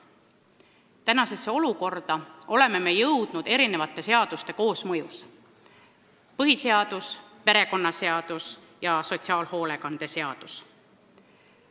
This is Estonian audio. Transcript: Tänasesse olukorda oleme jõudnud mitme seaduse koosmõjus: põhiseadus, perekonnaseadus ja sotsiaalhoolekande seadus.